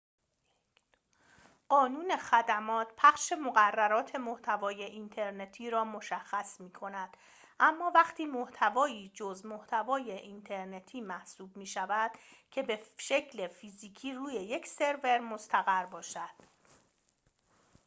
قانون خدمات پخش مقررات محتوای اینترنتی را مشخص می‌کند اما وقتی محتوایی جزء محتوای اینترنتی محسوب می‌شود که به‌شکل فیزیکی روی یک سرور مستقر باشد